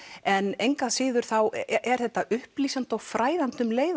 en engu að síður er þetta upplýsandi og fræðandi um leið